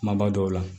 Kumaba dɔw la